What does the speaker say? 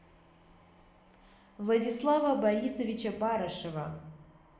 владислава борисовича барышева